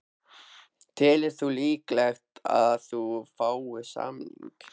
Telur þú líklegt að þú fáir samning?